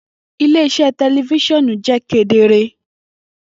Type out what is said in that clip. Ile-iṣẹ tẹlifisiọnu jẹ kedere.